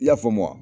I y'a faamu wa